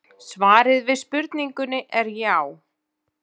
Svarið við spurningunni er já.